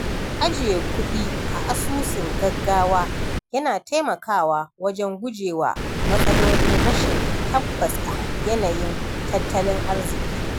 Ajiye kuɗi a asusun gaggawa yana taimakawa wajen guje wa matsalolin rashin tabbas a yanayin tattalin arziki.